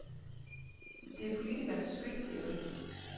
Det er politikernes skyld, hævder de.